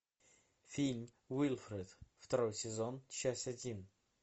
фильм уилфред второй сезон часть один